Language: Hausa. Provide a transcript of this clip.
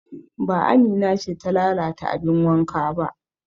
Ba Amina ce ta lalata abin wanka ba